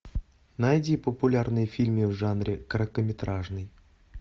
найди популярные фильмы в жанре короткометражный